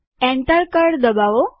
enter કળ દબાવો